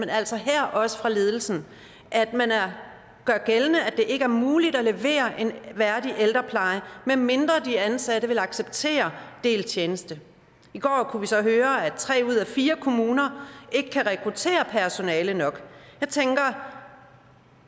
altså her også fra ledelsen at man gør gældende at det ikke er muligt at levere en værdig ældrepleje medmindre de ansatte vil acceptere delt tjeneste i går kunne vi så høre at tre ud af fire kommuner ikke kan rekruttere personale nok så tænker